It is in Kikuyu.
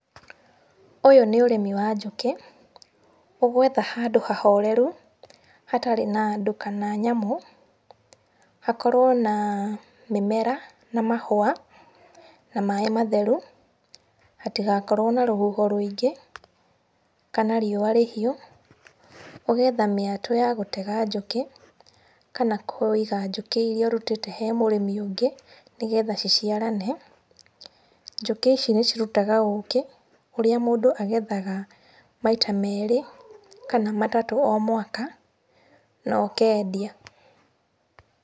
Ũyũ nĩ ũrĩmi wa njũkĩ, ũgwetha handũ hahoreru, hatarĩ na andũ kana nyamũ, hakorwo na mĩmera na mahũa, na maaĩ matheru, hatigakorwo na rũhuho rũĩingĩ, kana riũa rĩhiũ. Ũgeetha mĩatũ ya gũtega njũkĩ, kana kũiga njũkĩ iria ũrutĩte he mũrĩmi ũngĩ nĩ getha ciciarane. Njũkĩ ici nĩ cirutaga ũkĩ ũrĩa mũndũ agethaga maita merĩ kana matatũ o mwaka na ũkendia.